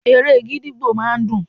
Eré gídígbò máa ń dùn.